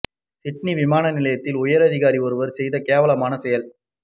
Sydney விமான நிலையத்தில் உயர் அதிகாரி ஒருவர் செய்த கேவலமான செயல்